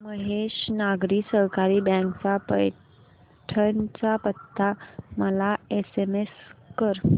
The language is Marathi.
महेश नागरी सहकारी बँक चा पैठण चा पत्ता मला एसएमएस कर